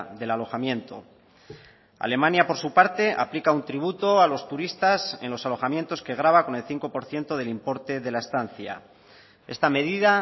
del alojamiento alemania por su parte aplica un tributo a los turistas en los alojamientos que grava con el cinco por ciento del importe de la estancia esta medida